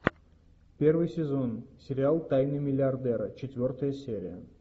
первый сезон сериал тайны миллиардера четвертая серия